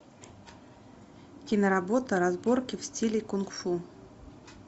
киноработа разборки в стиле кунг фу